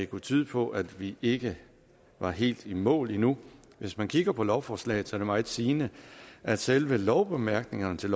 kunne tyde på at vi ikke er helt i mål endnu hvis man kigger på lovforslaget er det meget sigende at selve lovbemærkningerne til